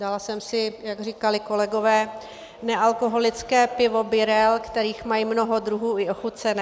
Dala jsem si, jak říkali kolegové, nealkoholické pivo Birell, kterých mají mnoho druhů, i ochucené.